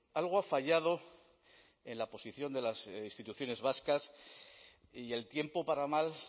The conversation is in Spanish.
algo ha fallado en la posición de las instituciones vascas y el tiempo para más